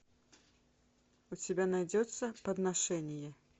у тебя найдется подношение